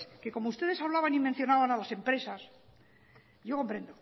que como ustedes hablaban y mencionaban a las empresas yo comprendo